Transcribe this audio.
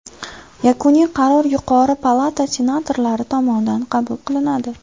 Yakuniy qaror yuqori palata senatorlari tomonidan qabul qilinadi.